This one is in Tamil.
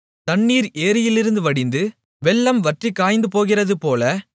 தண்ணீர் ஏரியிலிருந்து வடிந்து வெள்ளம் வற்றிக் காய்ந்துபோகிறதுபோல